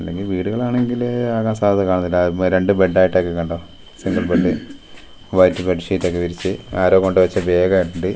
ല്ലെങ്കി വീടുകളാണെങ്കില് ആകാൻ സാധ്യത കാണ്ന്നില്ല അ രണ്ട് ബെഡ് ആയിട്ട് ഒക്കെ കണ്ടോ single bed white bed sheet ഒക്കെ വിരിച്ച് ആരോ കൊണ്ട് വെച്ച ബാഗ് ണ്ട് .